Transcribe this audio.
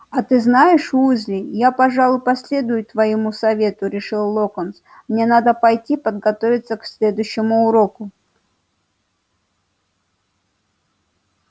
а ты знаешь уизли я пожалуй последую твоему совету решил локонс мне надо пойти подготовиться к следующему уроку